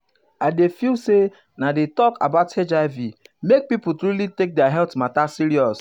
i dey feel say na di talk about hiv make pipo truly take their health mata serious.